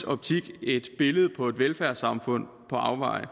optik et billede på et velfærdssamfund på afveje og